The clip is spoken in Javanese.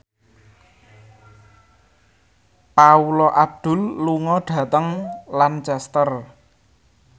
Paula Abdul lunga dhateng Lancaster